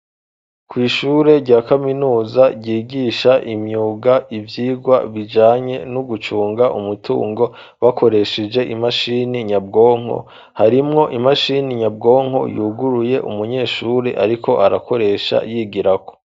Kw ishure rya kaminuza ryigisha imyuga ivyirwa bijanye no gucunga umutungo bakoresheje imashini nyabwonko harimwo imashini nyabwonko yuguruye umunyeshuri ariko arakoresha yigirako.